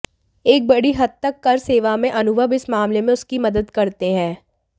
एक बड़ी हद तक कर सेवा में अनुभव इस मामले में उसकी मदद करते हैं